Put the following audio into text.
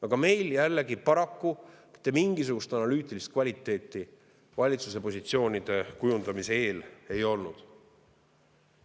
Aga meil jällegi paraku mitte mingisugust analüütilist kvaliteeti valitsuse positsioonide kujundamise eel ei olnud.